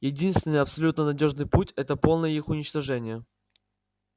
единственный абсолютно надёжный путь это полное их уничтожение